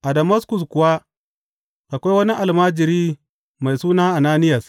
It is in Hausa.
A Damaskus kuwa akwai wani almajiri mai suna Ananiyas.